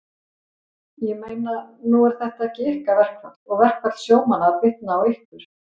Ég meina, nú er þetta ekki ykkar verkfall og verkfall sjómanna að bitna á ykkur?